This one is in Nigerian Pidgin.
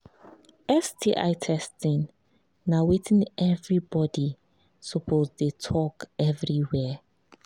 sti testing na watin everybody suppose the talk everywhere